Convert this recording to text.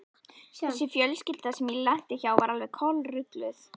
Þessi fjölskylda sem ég lenti hjá var alveg kolrugluð.